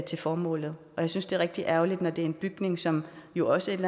til formålet jeg synes det er rigtig ærgerligt når det er en bygning som jo også et